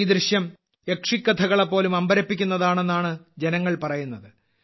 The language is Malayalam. ഈ ദൃശ്യം യക്ഷിക്കഥകളെപോലും അമ്പരപ്പിക്കുന്നതാണെന്നാണ് ജനങ്ങൾ പറയുന്നത്